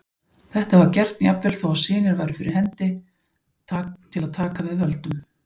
Þetta var gert jafnvel þó að synir væru fyrir hendi til að taka við völdum.